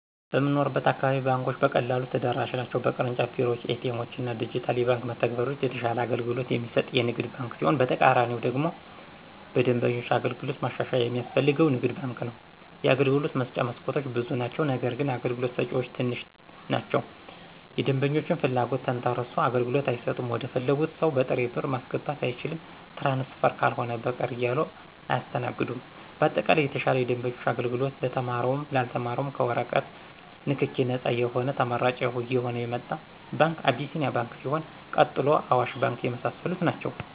በምንኖርበት አካባቢ ባንኮች በቀላሉ ተደራሽ ናቸው በቅርንጫፍ ቤሮዎች :ኤቲኤሞችና ዲጅታል የባንክ መተግበሪያዎች የተሻለ አገልግሎት የሚሰጥ ንግድ ባንክ ሲሆን በተቃራኒው ደግሞ በደንበኞች አገልግሎት ማሻሻያ የሚያስፈልገው ንግድ ባንክ ነው የአገልግሎት መስጫ መስኮቶች ብዙ ናቸው ነገርግን አገልግሎት ሰጭዎች ትንሽ ናቸው የደንበኞችን ፍለጎት ተንተሰርሶ አገልግሎት አይሰጡም ወደፈለጉት ሰው በጥሬ ብር ማስገባት አይቻልም ትራንስፈር ካልሆነ በቀር እያሉ አያሰተናግዱም በአጠቃላይ የተሻለ የደንበኞች አገልግሎት ለተማረውም ላልተማረውም ከወረቀት ነክኪ ነጻ የሆነ ተመራጭ እየሆነ የመጣ ባንክ አቢሴኒያ ባንክ ሲሆን ቀጥሎ አዋሽ ባንክ የመሳሰሉት ናቸው።